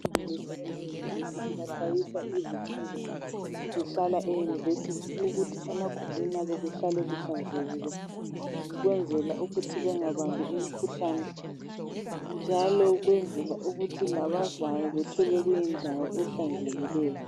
Abafundisa ema university baxhayisa izifundi ezihlala euniversity ukuthi emagumbini abo kuhlale kuhlanzekile ukwenzela ukuthi bengabambi imikhuhlane, njalo ukwenzela ukuthi labazayo bethole kuyindawo ehlanzekileyo.